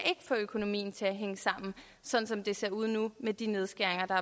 få økonomien til at hænge sammen sådan som det ser ud nu med de nedskæringer der